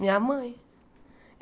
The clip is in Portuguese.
Minha mãe.